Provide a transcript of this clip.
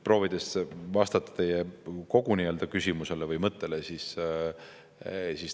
Proovin vastata teie kogu küsimusele või mõttele.